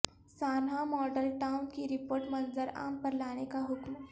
سانحہ ماڈل ٹاون کی رپورٹ منظر عام پر لانے کا حکم